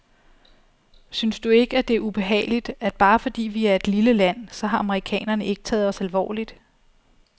Synes du ikke, at det er ubehageligt, at bare fordi vi er et lille land, så har amerikanerne ikke taget os alvorligt?